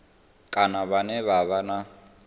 kana vhane vha vha na